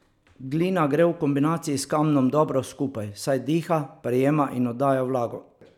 Glina gre v kombinaciji s kamnom dobro skupaj, saj diha, prejema in oddaja vlago.